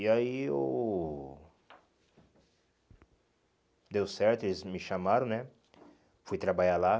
E aí eu deu certo, eles me chamaram né, fui trabalhar lá.